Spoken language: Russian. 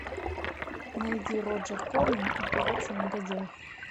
найди роджер корман операция негодяй